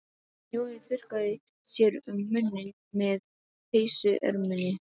Jói þurrkaði sér um munninn með peysuerminni.